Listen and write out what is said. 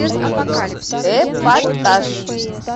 эпатаж